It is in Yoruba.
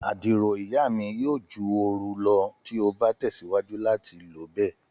Àdìrò iya mi yoo ju ooru lọ ti o ba tẹsiwaju lati lo bẹ.